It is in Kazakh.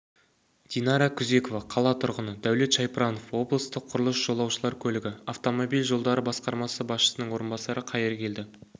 динара күзекова қала тұрғыны дәулет шайпранов облыстық құрылыс жолаушылар көлігі автомобиль жолдары басқармасы басшысының орынбасары қайыргелді